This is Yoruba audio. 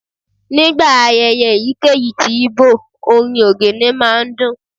Nigba ayẹyẹ eyikeyi tí Igbo, orín ogene ma n dun.